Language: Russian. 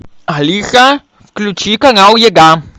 алиса включи канал еда